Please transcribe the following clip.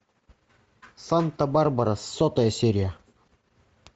санта барбара сотая серия